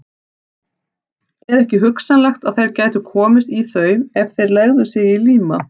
Er ekki hugsanlegt, að þeir gætu komist í þau, ef þeir legðu sig í líma?